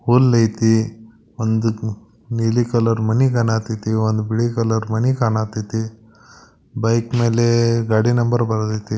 ಹುಲ್ ಐತಿ. ಒಂದುಕ್ ನೀಲಿ ಕಲರ್ ಮನಿ ಕಾಣಕತ್ತಿತಿ ಒಂದು ಬಿಳಿ ಕಲರ್ ಮನಿ ಕಾಣಕತ್ತಿತಿ ಬೈಕ್ ಮೇಲೆ ಗಾಡಿ ನಂಬರ್ ಬರಿದೈತೆ.